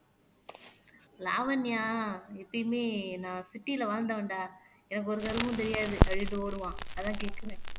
லாவண்யா எப்பயுமே நான் சிட்டியில வாழ்ந்தவன்டா எனக்கு ஒரு கருமும் தெரியாது அப்படின்ட்டு ஓடுவான் அதான் கேட்கிறேன்